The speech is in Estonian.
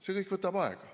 See kõik võtab aega.